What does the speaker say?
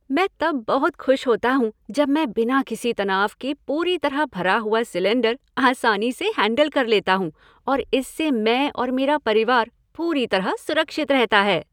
मैं तब बहुत खुश होता हूँ जब मैं बिना किसी तनाव के पूरी तरह भरा हुआ सिलेंडर आसानी से हैंडल कर लेता हूँ और इससे मैं और मेरा परिवार पूरी तरह सुरक्षित रहता है।